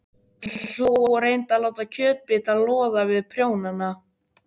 Hann hló og reyndi að láta kjötbita loða við prjónana.